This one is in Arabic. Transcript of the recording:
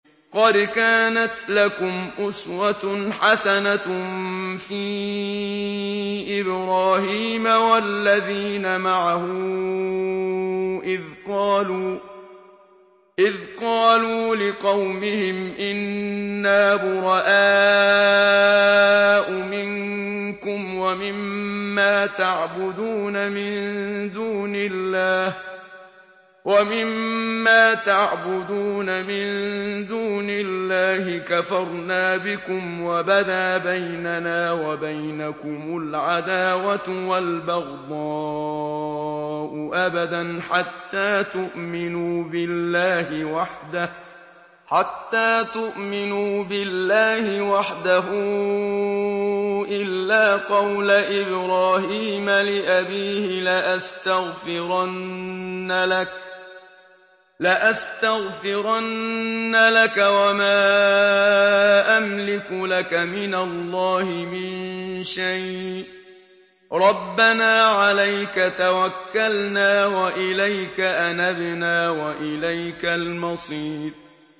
قَدْ كَانَتْ لَكُمْ أُسْوَةٌ حَسَنَةٌ فِي إِبْرَاهِيمَ وَالَّذِينَ مَعَهُ إِذْ قَالُوا لِقَوْمِهِمْ إِنَّا بُرَآءُ مِنكُمْ وَمِمَّا تَعْبُدُونَ مِن دُونِ اللَّهِ كَفَرْنَا بِكُمْ وَبَدَا بَيْنَنَا وَبَيْنَكُمُ الْعَدَاوَةُ وَالْبَغْضَاءُ أَبَدًا حَتَّىٰ تُؤْمِنُوا بِاللَّهِ وَحْدَهُ إِلَّا قَوْلَ إِبْرَاهِيمَ لِأَبِيهِ لَأَسْتَغْفِرَنَّ لَكَ وَمَا أَمْلِكُ لَكَ مِنَ اللَّهِ مِن شَيْءٍ ۖ رَّبَّنَا عَلَيْكَ تَوَكَّلْنَا وَإِلَيْكَ أَنَبْنَا وَإِلَيْكَ الْمَصِيرُ